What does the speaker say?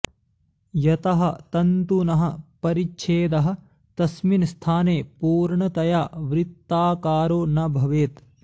यतः तन्तुनः परिच्छेदः तस्मिन् स्थाने पूर्णतया वृत्ताकारो न भवेत्